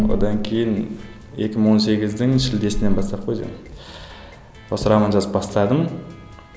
одан кейін екі мың он сегіздің шілдесінен бастап қой жаңағы ы осы роман жазып бастадым